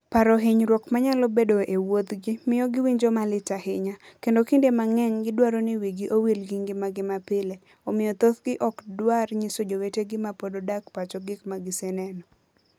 Paro hinyruok manyalo bedoe e wuodhgi miyo giwinjo malit ahinya, kendo kinde mang'eny gidwaro ni wigi owil gi ngimagi mapile, omiyo thothgi ok dwar nyiso jowetegi ma pod odak pacho gik ma giseneno.